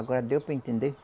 Agora deu para entender?